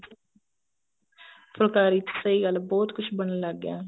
ਫੁਲਕਾਰੀ ਚ ਸਹੀ ਗੱਲ ਹੈ ਬਹੁਤ ਕੁੱਛ ਬਣਨ ਲੱਗ ਗਿਆ